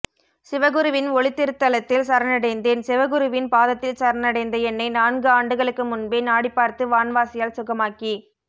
சிவகுருவின் ஒளித்திருத்தலத்தில் சரணடைந்தேன் சிவகுருவின் பாதத்தில் சரணடைந்த என்னை நான்கு ஆண்டுகளுக்கு முன்பே நாடிபார்த்து வான்வாசியால் சுகமாக்கி